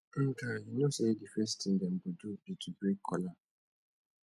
ndka you no know say the first thing dem go do be to break kola